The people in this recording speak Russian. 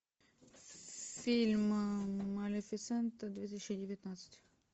фильм малефисента две тысячи девятнадцать